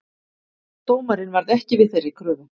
Dómarinn varð ekki við þeirri kröfu